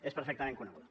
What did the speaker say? és perfectament coneguda